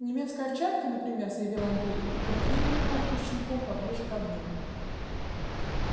немецкая овчарка например заявил андрей и придвинул куртку с щенком поближе к огню